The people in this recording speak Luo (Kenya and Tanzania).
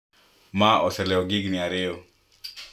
Ma oselewo gi higni ariyo